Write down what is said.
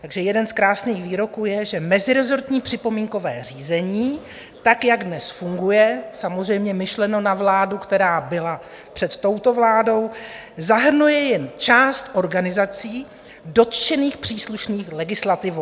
Takže jeden z krásných výroků je, že "mezirezortní připomínkové řízení tak, jak dnes funguje" - samozřejmě myšleno na vládu, která byla před touto vládou - "zahrnuje jen část organizací dotčených příslušných legislativou.